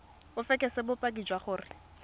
o fekese bopaki jwa gore